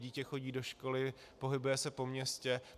Dítě chodí do školy, pohybuje se po městě.